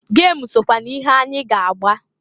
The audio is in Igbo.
Gem sokwa n'ihe anyị ga-agba.